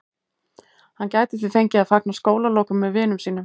Hann gæti því fengið að fagna skólalokum með vinum sínum.